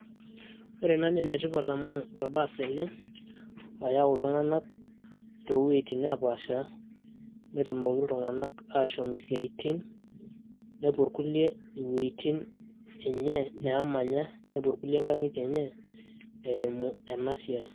Ore ena na enetipat amu orbaas ele, oyau iltung'anak towueiting' nepaasha, netumoki iltung'anak ashom isiaitin nepuo irkulie iwuejiting' enye nemanya, nepuo irkulie inkang'itie enye eimu enasiai.